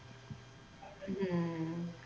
ਹਮ